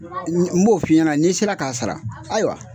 N b'o f'i ɲɛna n'i sera ka sara, hayiwa